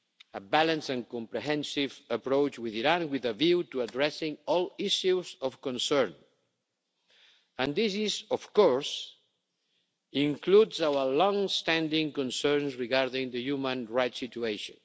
a balanced and comprehensive approach with Iran with a view to addressing all issues of concern and this of course includes our long standing concerns regarding the human rights situation.